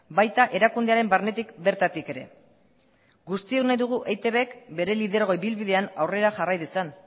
baita erakundearen barnetik bertatik ere guztiok nahi dugu eitbk bere lidergo ibilbidean aurrera jarrai dezan